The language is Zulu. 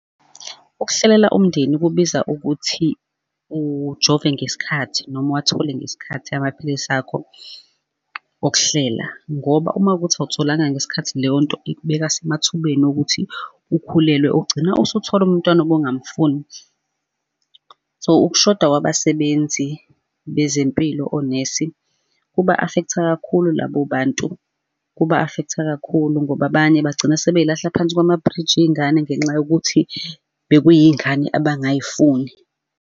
Ukuhlelela umndeni kubiza ukuthi ujove ngesikhathi noma uwathole ngesikhathi amaphilisi akho okuhlela, ngoba uma kuwukuthi awutholanga ngesikhathi leyo nto ikubeka semathubeni okuthi ukhulelwe, ugcina usuthola umntwana obungamfuni. So, ukushoda kwabasebenzi bezempilo onesi, kuba-affect-a kakhulu labo bantu, kuba-affect-a kakhulu ngoba abanye bagcina sebey'lahla phansi kwamabhriji iy'ngane ngenxa yokuthi bekuyiy'ngane abangay'funi.